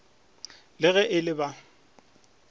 le ge e le ba